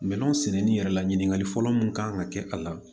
Minɛnw sɛnɛni yɛrɛ la ɲiniŋali fɔlɔ mun kan ka kɛ a la